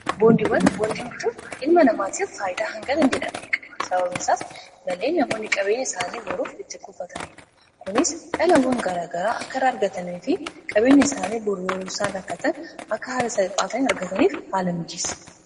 Boondiwwan, boondii bituun ilma namaatiif faayidaa hanganan jedhamne qaba. Sababniisaas malee namaonni qabeenya isaanii horuuf itti kufataniidha. Kunis dhalawwan garaagaraa akka irraa argatanii fi qabeenya isaanii yoree isaan rakkatan akka haala saphaa ta'een argataniif haala miijeessa.